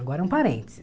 Agora um parênteses.